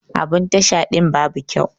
Abun Tasha din babu kyau.